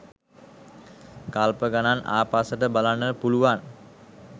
කල්ප ගණන් ආපස්සට බලන්න පුළුවන්.